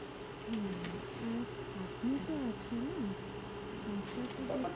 হ্যাঁ আর খাটনি তো আছে না? টাকা তো দেবে ব্যাপারটাতো